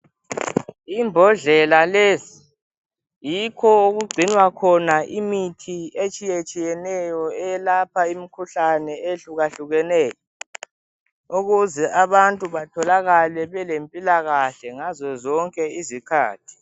Imbodlela lezi yikho okugcinwa khona imithi etshiyetshiyeneyo eyelapha imikhuhlane ehyehlukahlukeneyo ukuze abantu batholakale belempilakahle ngazozonke izikhathi.